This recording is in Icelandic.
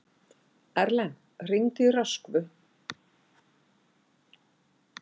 Erlen, hringdu í Röskvu.